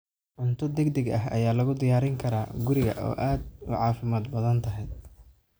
Cunto degdeg ah ayaa lagu diyaarin karaa guriga oo aad u caafimaad badan tahay.